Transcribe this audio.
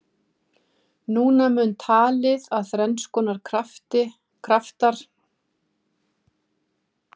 Núna mun talið að þrenns konar kraftar knýi botnskriðið: Uppstreymi efnis í möttulstrókum.